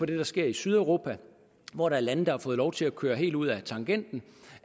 det der sker i sydeuropa hvor der er lande som har fået lov til at køre helt ud ad tangenten